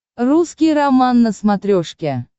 русский роман на смотрешке